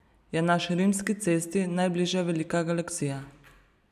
Je naši Rimski cesti najbližja velika galaksija.